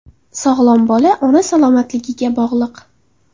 Sog‘lom bola ona salomatligiga bog‘liq.